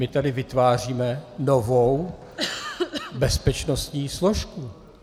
My tady vytváříme novou bezpečnostní složku.